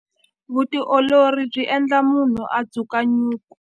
Vutiolori byi endla munhu a dzuka nyuku.